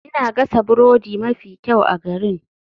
Ina gasa burodi mafi kyau a garin.